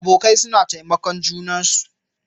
Abokai suna taimakon junansu.